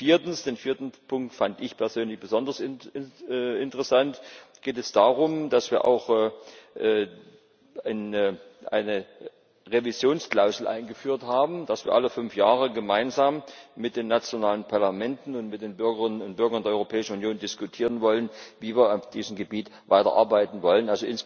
Und viertens den vierten Punkt fand ich persönlich besonders interessant geht es darum, dass wir auch eine Revisionsklausel eingeführt haben, dass wir alle fünf Jahre gemeinsam mit den nationalen Parlamenten und mit den Bürgerinnen und Bürgern der Europäischen Union diskutieren wollen, wie wir auf diesem Gebiet weiterarbeiten wollen.